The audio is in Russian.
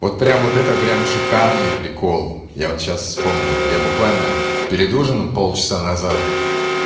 вот прям вот это прям шикарный прикол я вот сейчас вспомнил я буквально перед ужином полчаса назад